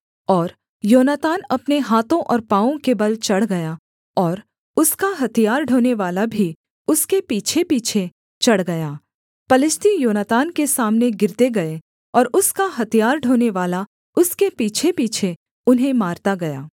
और योनातान अपने हाथों और पाँवों के बल चढ़ गया और उसका हथियार ढोनेवाला भी उसके पीछेपीछे चढ़ गया पलिश्ती योनातान के सामने गिरते गए और उसका हथियार ढोनेवाला उसके पीछेपीछे उन्हें मारता गया